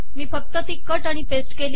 मी फक्त ती कट आणि पेस्ट केली